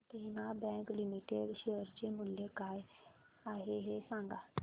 देना bank limited शेअर चे मूल्य काय आहे हे सांगा